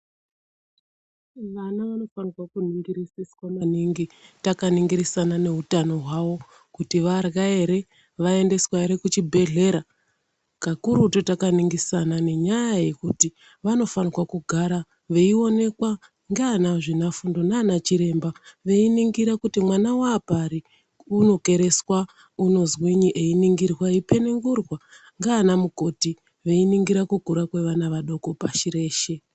Vana vanofanire kuningirisiswa maningi takaningirisana neutano hwavo kuti varya ere vaendeswa ere kuchibhehleya kakurutu takaningirisana nenyaya yekuti vanofane kugara veionekwa ngeanazvinafundo nanachiremba veiningira kuti mwana waapari unokereswa unozwinyi einingirwa eipenengurwa nganamukoti veiningira kukura kwevana vadoko pashi reshe.